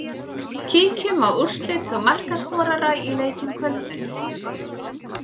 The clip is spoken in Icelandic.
Kíkjum á úrslit og markaskorara úr leikjum kvöldsins.